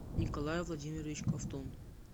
николай владимирович ковтун